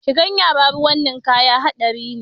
Shigan yara ruwan ninkaya haɗari ne